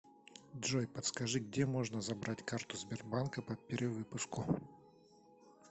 джой подскажи где можно забрать карту сбербанка по перевыпуску